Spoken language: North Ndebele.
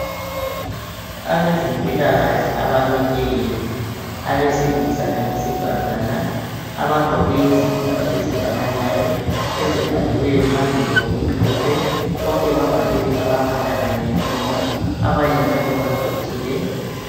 Abezempilakahle abamileyo abesilisa labesifazana abagqoke izikipa ezifananayo ezibhaliweyo phambili ngokumhlophe. Bonke bavalile amakhala kanye lemilomo abanye njalo baquthile.